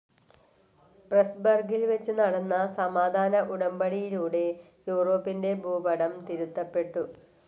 പ്രെസ്‌ബർഗിൽ വെച്ചു നടന്ന സമാധാന ഉടമ്പടിയിലൂടെ യൂറോപ്പിൻ്റെ ഭൂപടം തിരുത്തപെട്ടു.